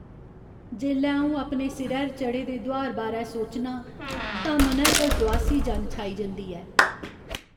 जेल्लै अऊं अपने सिरै'र चढ़े दे दुहार बारै सोचनां तां मनै पर दुआसी जन छाई जंदी ऐ।